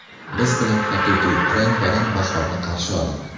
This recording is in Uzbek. Biz bilan haqiqiy, rang-barang bahorni qarshi oling.